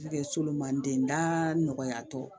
Solomani den da nɔgɔyatɔ